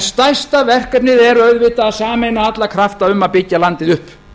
stærsta verkefnið er auðvitað að sameina alla krafta um að byggja landið upp